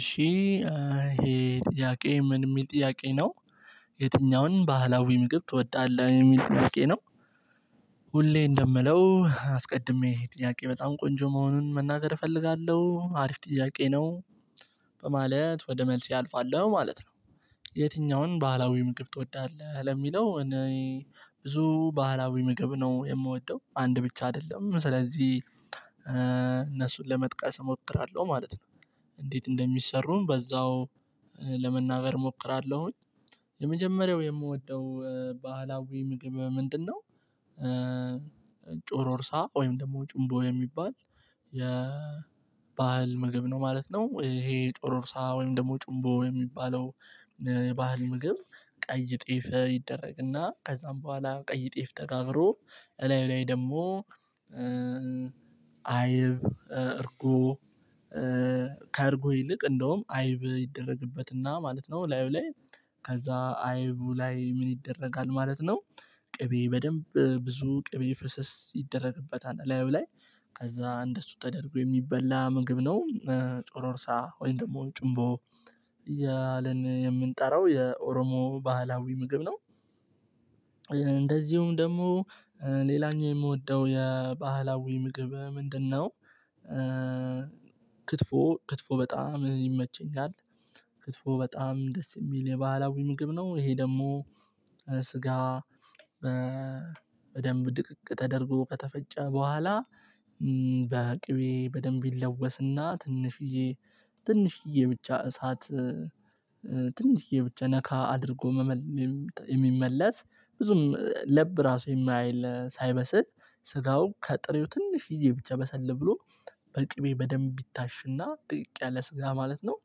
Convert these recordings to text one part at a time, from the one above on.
እሺ ይሄ ጥያቄ ምን የሚል ጥያቄ ነው። የትኛውን ባህላዊ ምግብ ትወዳለህ የሚል ጥያቄ ነው። ሁሌ እንደምለው አስቀድሜ ጥያቄ በጣም ቆንጆ መሆኑን መናገር እፈልጋለሁ ሀሪፍ ጥያቄ ነው። በማለት ወደ መልስ አልፋለሁ ማለት ነው። የትኛውን ባህላዊ ምግብ ትወዳለህ ለሚለው እኔ ብዙ ባህላዊ ምግብ ነው የምወደው አንድ ብቻ አይደለም ስለዚህ እነሱን ለመጥቀስ እሞክራለሁ ማለት ነው። እንዴት እንደሚሰሩም በዛው ለመናገር እሞክራለሁኝ የመጀመሪያው የምወደው ባህላዊ ምግብ ምንድነው? ጩሮርሳ ወይም ደግሞ ጩምቦ የሚባል የባህል ምግብ ነው ማለት ነው። ይሄ ጩሮርሳ ወይም ደግሞ ጩምቦ የሚባለው። የባህል ምግብ ቀይ ጤፍ ይደረግና ከዛም በኋላ ቀይ ጤፍ ተጋብሮ እላዩ ላይ ደግሞ አይብ እርጎ ካርጎ ይልቅ እንደውም አይብ ይደረግበትና ማለት ነው። ላዩ ላይ ከዛ አይቡ ላይ ምን ይደረጋል ማለት ነው? ቅቤ በደንብ ብዙ ቅቤ ፍሰስ ይደረግበታል ላዩ ላይ ከዛ እንደሱ ተደርጎ የሚበላ ምግብ ነው። ጩሮርሳ እርሳ ወይም ደግሞ ጭንቦ እያለን የምንጠራው የኦሮሞ ባህላዊ ምግብ ነው። እንደዚሁም ደግሞ ሌላኛው የምወደው የባህላዊ ምግብ ምንድነው? ክትፎ ክትፎ በጣም ይመቸኛል። ክትፎ በጣም ደስ የሚል የባህላዊ ምግብ ነው ይሄ ደግሞ ስጋ በደንብ ድቅቅ ተደርጎ ከተፈጨ በኋላ በቅቤ በደንብ ይለወስና ትንሽዬ ትንሽዬ ብቻ እሳት ትንሽዬ ብቻ ነካ አድርጎ የሚመለስ ብዙም ለብ ራሱ የማያይል ሳይበስል ስጋውን ከጥሬው ትንሽ ይዤ ብቻ በሰለብ ብሎ በቅቤ በደንብ ቢታሽና ድቅቅ ያለ ስጋ ማለት ነው።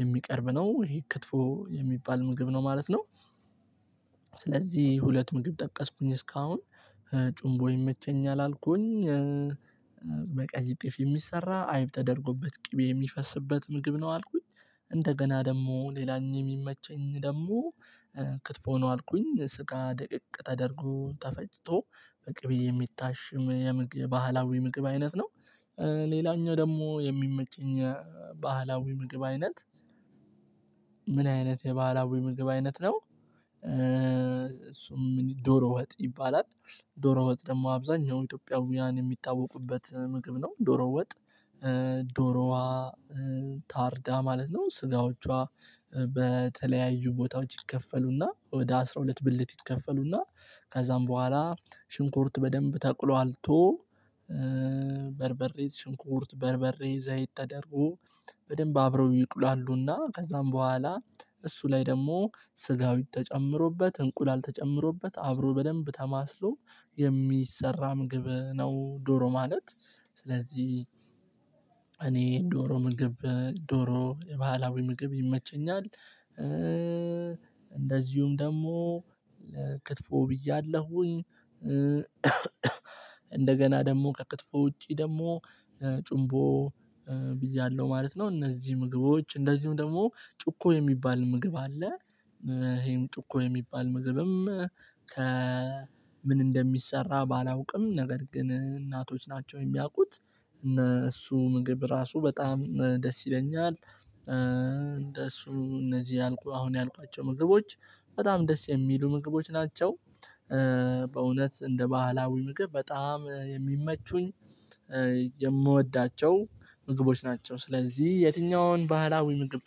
የሚቀርብ ነው ይሄ ክትፎ የሚባል ምግብ ነው ማለት ነው። ስለዚህ ሁለቱ ምግብ ጠቀስኩኝ እስካሁን ጩምቦ ይመቸኛል አልኩኝ። በቀይ ጤፍ የሚሰራ አይብ ተደርጎበት ቅቤ የሚፈስበት ምግብ ነው አልኩኝ። እንደገና ደግሞ ሌላኛው የሚመቸኝ ደግሞ ክትፎ ነው አልኩኝ ስጋ ድቅቅ ተደርጎ ተፈጭቶ በቅቤ የሚታሽም የምግብ ባህላዊ ምግብ አይነት ነው። ሌላኛው ደግሞ የሚመቸኝ የባህላዊ ምግብ አይነት ምን አይነት የባህላዊ ምግብ አይነት ነው? እሱ ዶሮ ወጥ ይባላል። ዶሮ ወጥ ደግሞ አብዛኛው ኢትዮጵያውያን የሚታወቁበት ምግብ ነው ዶሮ ወጥ። ዶሮዋ ታርዳ ማለት ነው ስጋዎቿ በተለያዩ ቦታዎች ይከፈሉና ወደ አስራ ሁለት ብልት ይከፈሉና ከዛም በኋላ ሽንኩርት በደንብ ተቁላልቶ በርበሬ ሽንኩርት በርበሬ ዘይት ተደርጎ በደንብ አብረው ይቁላሉና ከዛም በኋላ እሱ ላይ ደግሞ ስጋዊ ተጨምሮበት እንቁላል ተጨምሮበት አብሮ በደንብ ተማስሎ የሚሰራ ምግብ ነው ዶሮ ማለት። ስለዚህ እኔ ዶሮ ምግብ ዶሮ ባህላዊ ምግብ ይመቸኛል። እንደዚሁም ደግሞ ክትፎ ብያለሁኝ። እንደገና ደግሞ ከክትፎ ውጪ ደግሞ ጩምቦ ብያለው ማለት ነው እነዚህ ምግቦች እንደዚሁም ደግሞ ጩቆ የሚባል ምግብ አለ። ይሄም ጩቆ የሚባል መግብም ከ ምን እንደሚሰራ ባላውቅም ነገር ግን እናቶች ናቸው የሚያውቁት። እነ እሱ ምግብ ራሱ በጣም ደስ ይለኛል። እንደ እሱ እነዚህ ያልኩ አሁን ያልኳቸው ምግቦች በጣም ደስ የሚሉ ምግቦች ናቸው። በእውነት እንደ ባህላዊ ምግብ በጣም የሚመቹኝ የምወዳቸው ምግቦች ናቸው። ስለዚህ የትኛውን ባህላዊ ምግብ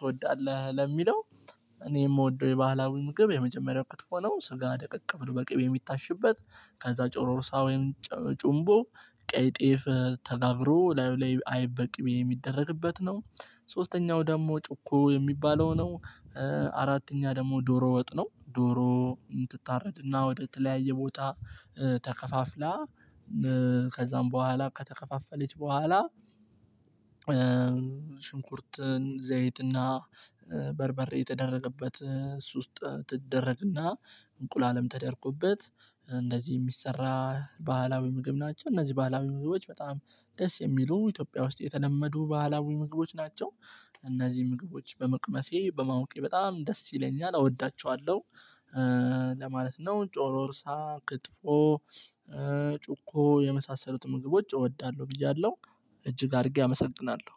ትወዳለህ ለሚለው እኔ የምወደው የባህላዊ ምግብ የመጀመሪያው ክትፎ ነው። ስጋ ደቀቅ ብሎ በቅቤ የሚታሽበት ከዛ ጭሮሮሳ ወይም ጩምቦ ቀይ ጤፍ ተጋብሮ ላዩ ላይ አይብ በቅቤ የሚደረግበት ነው። ሶስተኛው ደግሞ ጩኮ የሚባለው ነው። አራተኛ ደግሞ ዶሮ ወጥ ነው ዶሮ የምትታረድ እና ወደ ተለያየ ቦታ ተከፋፍላ ከዛም በኋላ ከተከፋፈለች በኋላ። ሽንኩርትን ዘይትና በርበሬ የተደረገበት እሱ ውስጥ ትደረግና እንቁላለም ተደርጎበት እንደዚህ የሚሰራ ባህላዊ ምግብ ናቸው እነዚህ ባህላዊ ምግቦች በጣም ደስ የሚሉ ኢትዮጵያ ውስጥ የተለመዱ ባህላዊ ምግቦች ናቸው። እነዚህ ምግቦች በመቅመሴ በማወቄ በጣም ደስ ይለኛል እወዳቸዋለሁ። ለማለት ነው ጮሮርሳ ክትፎ ጩቆ የመሳሰሉት ምግቦች እወዳለሁ ብያለሁ። እጅግ አድርጌ አመሰግናለሁ።